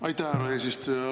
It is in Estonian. Aitäh, härra eesistuja!